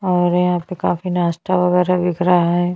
और यहाँ पे काफी नाश्ता वगेरा बिक रहा है।